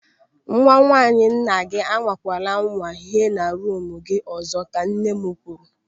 "Nwa nwaanyị nna gị anwakwala anwa hie na ruumu gị ọzọ" ka nne m kwuru.